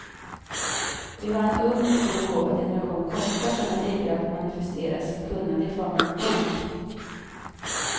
Vi har en ung, mycket begåvad generation kockar som är ivriga att manifestera sitt kunnande i form av en bok.